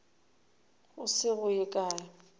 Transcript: go se go ye kae